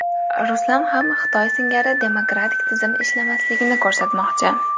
Ruslar ham Xitoy singari demokratik tizim ishlamasligini ko‘rsatmoqchi.